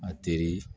A teri